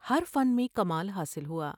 ہرفن میں کمال حاصل ہوا ۔